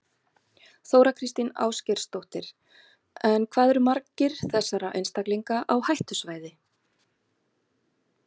Þóra Kristín Ásgeirsdóttir: En hvað eru margir þessara einstaklinga á hættusvæði?